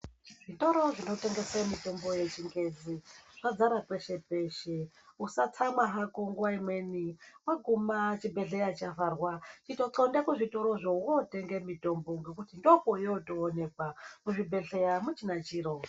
Zvitoro zvinotengesa mitombo yechingezi zvvakara peshe peshe usatsamwa hako nguwa hako nguwa imweni wahuma chibhehleya chavharwa iyo hlonda kuzvitorozvo wototenga mutombo ngekuti nfokwoyoonekwa kuzvibhehleya akuchina chiro.